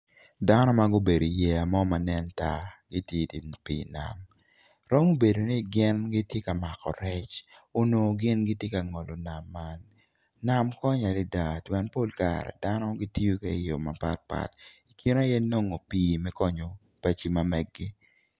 Dano ma gubedo iyeya mo ma nen tar gitye i dye pii nam romo bedo ni gin giti ka mako rec onongo gin giti ka ngolo nam man nam konyo adada pien pol kare dano gityo ke i yo mapat pat i kine aye nongo pii konyo paci magegi